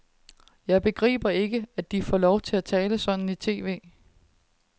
Jeg begriber ikke, at de får lov at tale sådan i tv.